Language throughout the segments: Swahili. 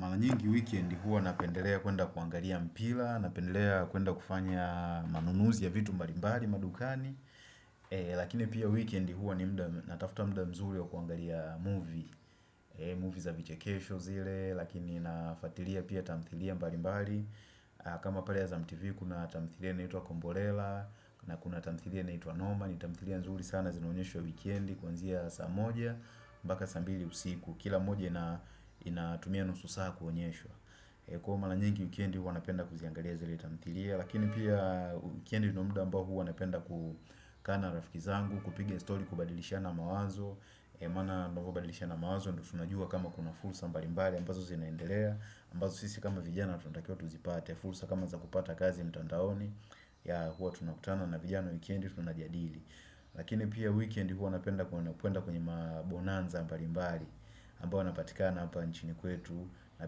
Mara nyingi weekend hua napendelea kuenda kuangalia mpira, napendelea kuenda kufanya manunuzi ya vitu mbali mbali madukani. Lakini pia weekend hua natafuta muda mzuri wa kuangalia movie, movie za vichekesho zile, lakini nafuatilia pia tamthilia mbali mbali. Kama pale ya za tivi kuna tamthilia inaitwa komborela, na kuna tamthilia naitwa noma, ni tamthilia nzuri sana zinanyeshwa weekendi, kuanzia saa moja, mpaka saa mbili usiku kila moja inatumia nusu saa kuonyeshwa kwa mara nyingi wikendi huwa napenda kuziangalia zile tamthilia lakini pia wikendi ndio muda ambao huwa napenda kukaa na rafiki zangu kupiga story kubadilishana mawazo maana mnavyo badilishana mawazo ndio tunajua kama kuna fursa mbali mbali ambazo zinaendelea ambazo sisi kama vijana tunatakiwa tuzipate fursa kama za kupata kazi mtandaoni yeah huwa tunakutana na vijana wikendi tunajadili Lakini pia weekend huwa napenda kuenda kwenye mabonanza mbali mbali ambao yanapatikana hapa nchini kwetu na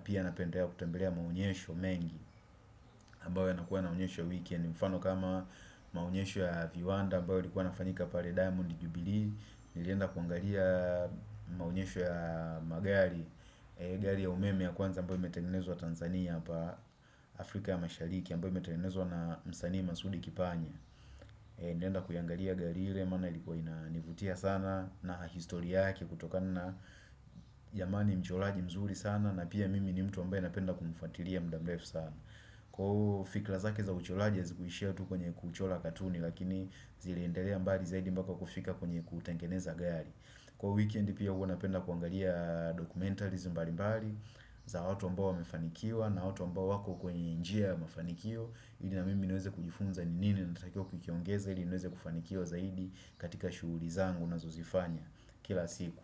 pia napendelea kutembelea maonyesho mengi ambayo yanakuwa yanaonyeshwa weekend mfano kama maonyesho ya viwanda ambayo yalikuwa yanafayika pale diamond jubilee Nilienda kuangalia maonyesho ya magari gari ya umeme ya kwanza ambayo imetengenezwa Tanzania Afrika ya mashariki ambayo imetengnezwa na msanii masudi kipanya Nilienda kuiangalia gari ile maana ilikuwa inavutia sana na histori yake kutokana na jamani mchoraji mzuri sana na pia mimi ni mtu ambaye anapenda kumfuatilia muda mrefu sana. Kwa fikra zake za uchoraji hazikuishia tu kwenye kuchora katuni lakini ziliendelea mbali zaidi mpaka kufika kwenye kutengeneza gari. Kwa weekend pia huwa napenda kuangalia documentaries mbali mbali za watu ambao wamefanikiwa na watu ambao wako kwenye njia ya mafanikio. Ili na mimi niweze kujifunza ni nini natakiwa kukiongeza ili niweze kufanikiwa zaidi katika shughuli zangu ninazozifanya kila siku.